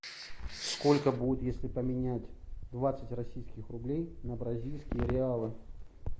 сколько будет если поменять двадцать российских рублей на бразильские реалы